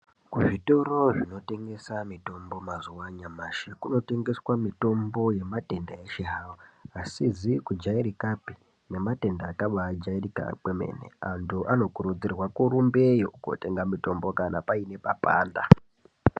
Zvitoro zvinotengesa mitombo mazuva anyamashi kunotengeswa mitombo yematenda eshe hawo asizi kujairikapi nematenda akabajairika kwemene antu anokurudzirwa kurumbeyo kootenga mitombo kana paine papata.